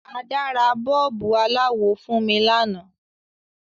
Ada ra bọ́ọ̀bù aláwọ̀ fun mi lanáà